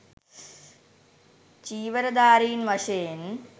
චීවරධාරින් වශයෙන්